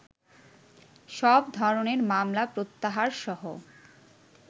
সব ধরনের মামলা প্রত্যাহারসহ